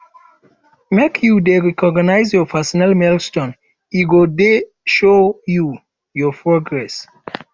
make you dey recognize your personal milestones e go dey show you your progress